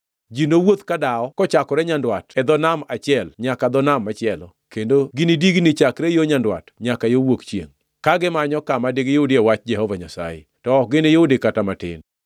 Ji nowuoth kadawo kochakore nyandwat e dho nam achiel nyaka dho nam machielo kendo ginidigni chakre yo nyandwat nyaka yo wuok chiengʼ, ka gimanyo kama digiyudie wach Jehova Nyasaye, to ok giniyudi kata matin.